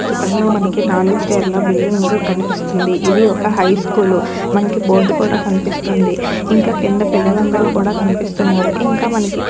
ఈ చిత్రం లో మనకి నాలుగు స్టేర్ ల బిల్డింగ్ గు కనిపిస్తుందిఇది ఒక్క హై స్కూల్ మనకి బోర్డు కూడా కనిపిస్తుంది ఇంకా కింద పిల్లలందరూ కూడా కనిపిస్తున్నారు ఇంకా మనకి--